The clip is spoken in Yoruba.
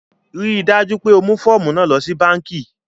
Ríì dájú pé o mú fọ̀ọ̀mú náà lọ sí bankí!